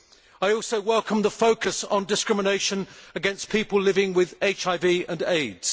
I also welcome the focus on discrimination against people living with HIV and AIDS.